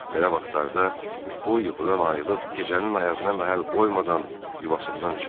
Belə vaxtlarda o yuxudan ayılıb gecənin ayazına məhəl qoymadan yuvasından çıxır.